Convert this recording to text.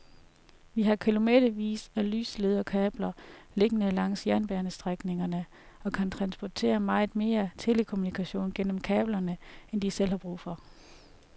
De har kilometervis af lyslederkabler liggende langs jernbanestrækningerne og kan transportere meget mere telekommunikation gennem kablerne end de selv har brug for.